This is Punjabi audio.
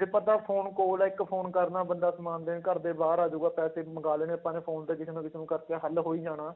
ਜੇ ਬੰਦਾ phone ਕੋਲ ਹੈ ਇੱਕ phone ਕਰਨਾ ਬੰਦਾ ਸਮਾਨ ਦੇਣ ਘਰਦੇ ਬਾਹਰ ਆ ਜਾਊਗਾ ਪੈਸੇ ਵੀ ਮੰਗਾ ਲੈਣੇ, ਆਪਾਂ phone ਤੇ ਕਿਸੇ ਨਾ ਕਿਸੇ ਨੂੰ ਕਰਕੇ ਹੱਲ ਹੋ ਹੀ ਜਾਣਾ।